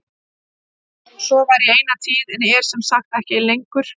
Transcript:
Svo var í eina tíð en er sem sagt ekki lengur.